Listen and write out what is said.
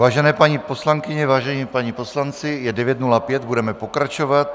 Vážené paní poslankyně, vážení páni poslanci, je 9.05, budeme pokračovat.